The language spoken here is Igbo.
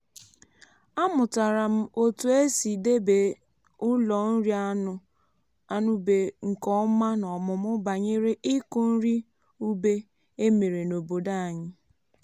amụtara m otu esi debe ụlọ nri anụ ube nke ọma n’ọmụmụ banyere ịkụ nri ube e mere n’obodo anyị.